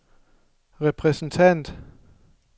repræsentant